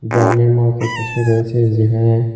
গ্রামের মতো কিছু রয়েছে যেখানে--